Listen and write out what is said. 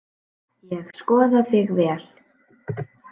Ég skoða þig vel.